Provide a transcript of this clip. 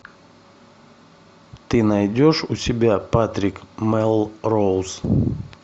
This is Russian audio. ты найдешь у себя патрик мелроуз